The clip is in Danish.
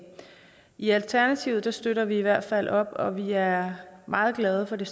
i alternativet støtter vi i hvert fald op om det vi er meget glade for det